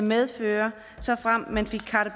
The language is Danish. medføre såfremt man fik carte